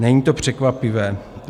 Není to překvapivé.